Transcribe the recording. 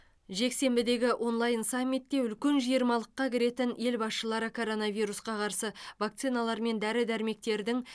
жексенбідегі онлайн саммитте үлкен жиырмалыққа кіретін ел басшылары коронавирусқа қарсы вакциналар мен дәрі дәрмектердің